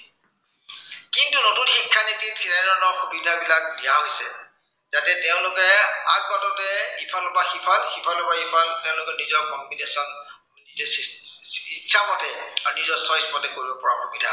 কিন্তু নতুন শিক্ষানীতিৰ তেনেধৰনৰ সুবিধাবিলাক দিয়া হৈছে। যাতে তেওঁলোকে আদ বাটতে ইফালৰ পৰা সিফাল, সিফালৰ পৰা ইফাল, তেওঁলোকে নিজৰ complication নিজে ইচ্ছা মতে বা নিজৰ choice কৰিব পৰা সুবিধা